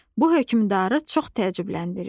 Bu hökmdarı çox təəccübləndirir.